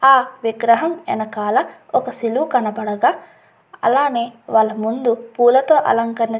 ఆ విగ్రహం వెనకాల ఒక శిలువ కనపడగా అలానే వాళ్ళ ముందు పూలతో అలంకరణ చేసిన --